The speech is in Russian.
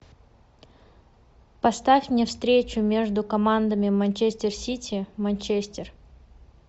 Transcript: поставь мне встречу между командами манчестер сити манчестер